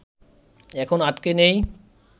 এখন আটকে নেই